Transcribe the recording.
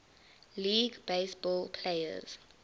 league baseball players